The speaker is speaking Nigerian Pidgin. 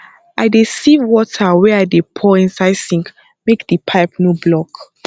i dey sieve water wey i dey pour inside sink make di pipe no block